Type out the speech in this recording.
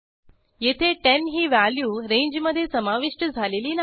येथे 10 ही व्हॅल्यू रेंजमधे समाविष्ट झालेली नाही